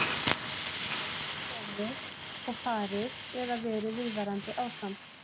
Getuleysi getur komið og farið eða verið viðvarandi ástand.